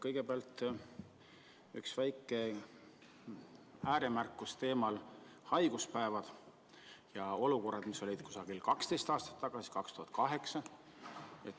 Kõigepealt üks väike ääremärkus teemal "Haiguspäevad ja olukorrad, mis olid umbes 12 aastat tagasi, 2008".